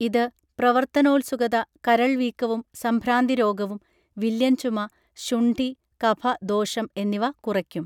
ഇത് പ്രവർത്തനോൽസുകത കരൾവീക്കവും സംഭ്രാന്തിരോഗവും വില്ലൻചുമ ശുണ്ഠി കഫ ദോഷം എന്നിവ കുറയ്ക്കും